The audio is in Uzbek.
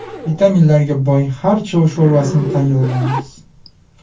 Vitaminlarga boy xarcho sho‘rvasini tayyorlaymiz.